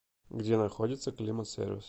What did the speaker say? где находится климат сервис